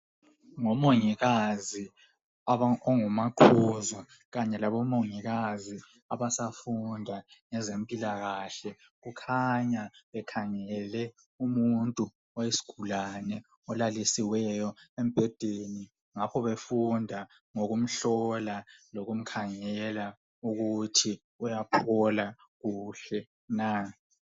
Ngomongikazi ongumaqhuzu kanye labomongikazi abasafunda ngezempilakahle kukhanya bekhangele umuntu oyisigulane olalisiweyo embhedeni ngakho befunda ngokumhlola lokumkhangela ukuthi uyaphola kuhle na.